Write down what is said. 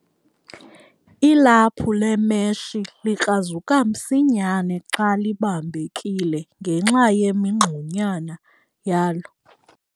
Ilaphu lemeshi likrazuka msinyane xa libambekile ngenxa yemingxunyana yalo.